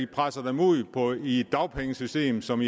presser dem ud i et dagpengesystem som